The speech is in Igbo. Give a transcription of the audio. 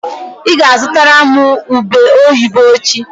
Ị ga-azụtara m ube oyibo echi.